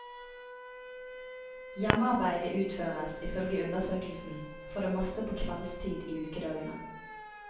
Hjemmearbeidet utføres, ifølge undersøkelsen, for det meste på kveldstid i ukedagene.